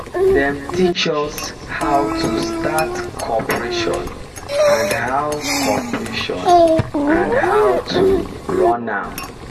them teach us how to start cooperation and how cooperation and how to run am